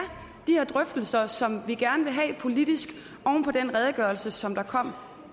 de her drøftelser som vi gerne vil have politisk oven på den redegørelse som kom